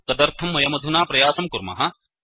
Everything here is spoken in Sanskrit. तदर्थं वयमधुना प्रयासं कुर्मः